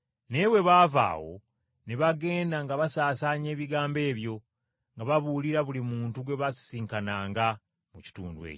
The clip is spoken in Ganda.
Naye bwe baava awo, ne bagenda nga basaasaanya ebigambo ebyo, nga babuulira buli muntu gwe baasisinkananga mu kitundu ekyo.